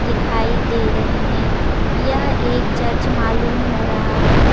दिखाई दे रहे हे यह एक चर्च मालूम हो रहा हे ।